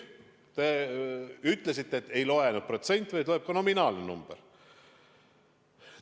Te ütlesite, et ei loe vaid protsent, vaid loeb ka nominaalne number.